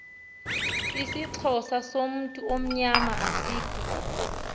isixhosa somthonyama asikho